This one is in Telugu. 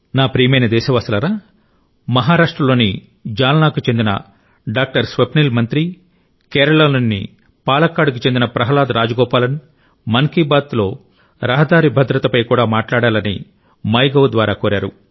నా ప్రియమైన దేశవాసులారా మహారాష్ట్ర లోని జాల్నాకు చెందిన డాక్టర్ స్వప్నిల్ మంత్రి కేరళలోని పాలక్కాడ్కు చెందిన ప్రహ్లాద్ రాజగోపాలన్ మన్ కీ బాత్లో రహదారి భద్రతపై కూడా మాట్లాడాలని మైగవ్ ద్వారా కోరారు